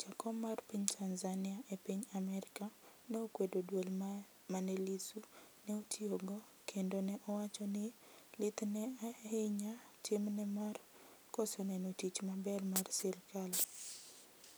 jakom mar piny Tanzania e piny Amerka ne okwedo duol mane Lissu ne otiyogo kendo ne owacho ni lith ne ahinya tim ne mar koso neno tich maber mar sirikal